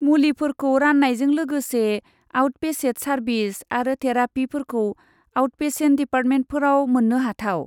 मुलिफोरखौ रान्नायजों लोगोसे आउटपेसेट सार्बिस आरो थेरापिफोरखौ आउटपेसेन्ट डिपार्टमेन्टफोराव मोननोहाथाव।